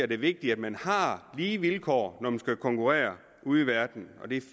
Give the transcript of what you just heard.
det vigtigt at man har lige vilkår når man skal konkurrere ude i verden